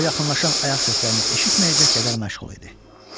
O yaxınlaşan ayaq səslərini eşitməyəcək qədər məşğul idi.